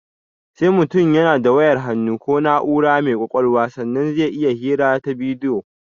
Sai mutum yana da wayar hannu ko na'ura mai ƙwaƙalwa sannan zai iya hira ta bidiyo